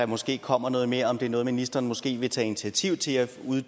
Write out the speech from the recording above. måske kommer noget mere om det er noget ministeren måske vil tage initiativ til at finde ud